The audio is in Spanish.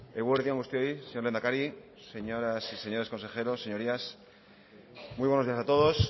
eguerdi on guztioi señor lehendakari señoras y señores consejeros señorías muy buenos días a todos